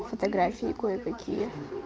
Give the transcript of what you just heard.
фотографии кое-какие